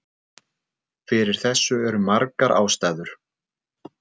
Fyrir þessu eru margar ástæður.